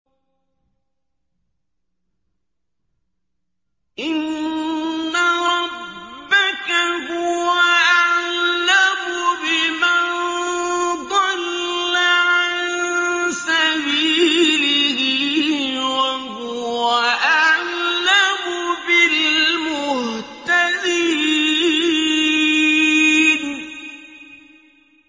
إِنَّ رَبَّكَ هُوَ أَعْلَمُ بِمَن ضَلَّ عَن سَبِيلِهِ وَهُوَ أَعْلَمُ بِالْمُهْتَدِينَ